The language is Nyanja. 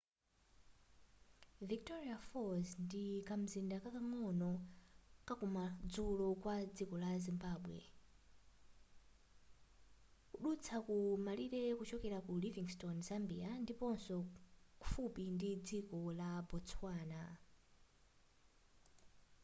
victoria falls ndi kamzinda kakang'ono kakumadzulo kwa dziko la zimbabwe kudutsa ku malire kuchokera ku livingstone zambia ndiponso kufupi ndi dziko la botswana